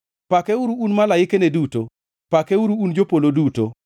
Pakeuru, un malaikane duto, pakeuru, un jopolo duto.